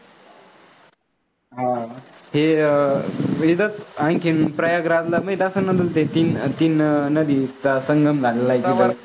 हां हे वेदत आणखीन प्रयागराजला असे तीन तीन नद्यांचा संगम झाला आहे तिथं.